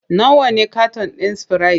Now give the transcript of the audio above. Nawa ne katan ɗin sprite?